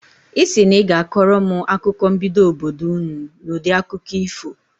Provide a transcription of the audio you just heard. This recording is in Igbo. Ị sị na ị ga-akọrọ m akụkọ mbido obodo ụnụ n'udi akụkọ ifo.